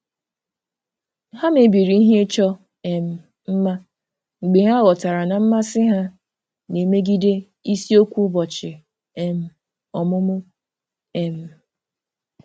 Ha mebiri ihe ịchọ um mma mgbe ha ghọtara na mmasị ha na-emegide isiokwu ụbọchị um ọmụmụ. um